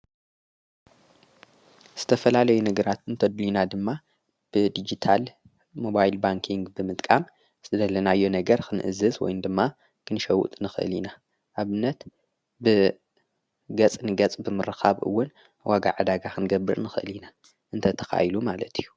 ዝተፈላለይ ነግራት እንተድይና ድማ ብዲግታል ሞባይል ባንክንግ ብምጥቃም ዝደለናዮ ነገር ኽንእዝዝ ወይን ድማ ክንሸውጥ ንኽእል ኢና ኣብነት ብገጽ ንገጽ ብምርኻብውን ወጋ ዓዳጋ ኽንገብር ንኽእል ኢና እንተ ተኻይሉ ማለት እዩ።